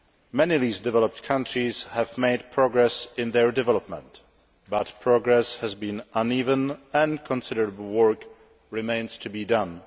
Many least developed countries have made progress in their development, but progress has been uneven and considerable work remains to be done.